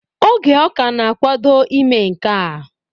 Oge ọ ka na-akwado ime nkea